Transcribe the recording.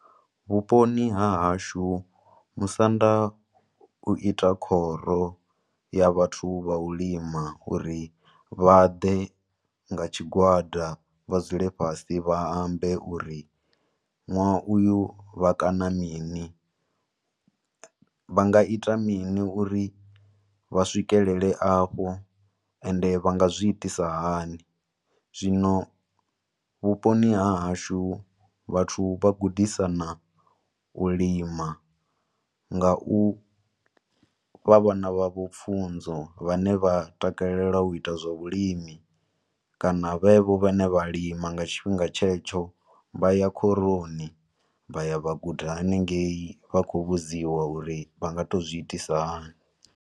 Vhuponi ha hashu, musanda u ita khoro ya vhathu vha u lima uri vha ḓe nga tshigwada vha dzule fhasi vha ambe uri nwaha uyu vha kana mini, vha nga ita mini uri vha swikelele afho ende vha nga zwi itisa hani. Zwino vhuponi ha hashu vhathu vha gudisana u lima nga u fha vhana vha vho pfunzo vha ne vha takalela u ita zwa vhulimi, kana vhe vho vha ne vha lima nga tshi fhinga tshetsho, vha ya khoroni, vha ya vha guda haningeyi, vha khou vhudziwa uri vha nga to zwi itisa hani.